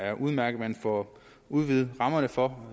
er udmærket at man får udvidet rammerne for